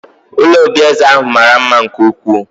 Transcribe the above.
Ụlọ obi eze ahụ mara mma nke ukwuu